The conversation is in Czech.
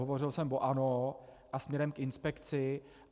Hovořil jsem o ANO a směrem k inspekci.